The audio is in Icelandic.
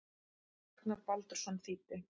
Ragnar Baldursson þýddi.